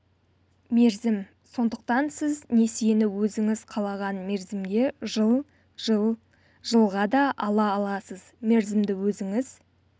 мерзім сондықтан сіз несиені өзіңіз қалаған мерзімге жыл жыл жылға да ала аласыз мерзімді өзіңіз